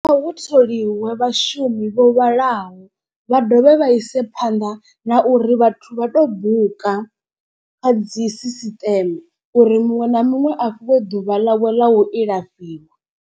Kha hu tholiwe vhashumi vho vhalaho vha dovhe vha ise phanḓa na uri vhathu vha to buka. Kha dzi sisiṱeme uri muṅwe na muṅwe a fhiwe ḓuvha ḽawe ḽa u ilafhiwa.